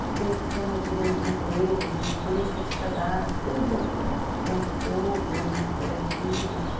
Estudei sistemas de emprego, assim, de políticas de trabalho, estudei um pouco de banco do povo, cooperativas.